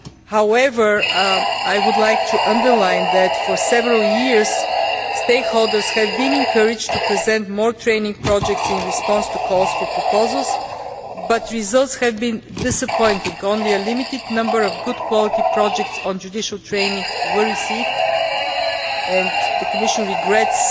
However, I would like to underline that, for several years, stakeholders have been encouraged to present more training projects in response to calls for proposals, but results have been disappointing only a limited number of good quality projects on judicial training were received and the Commission regrets,